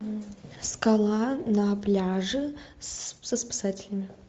скала на пляже со спасателями